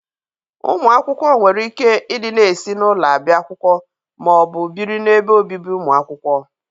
Ụmụ akwụkwọ nwere ike ị dịna esi n'ụlọ abịa akwụkwọ ma ọ bụ bịrị na ebe obibi ụmụ akwụkwọ.